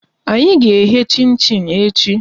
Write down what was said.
Anyị ga eghe chin chin echi